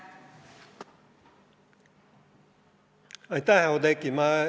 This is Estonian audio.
Aitäh, Oudekki!